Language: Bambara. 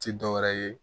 Ti dɔwɛrɛ ye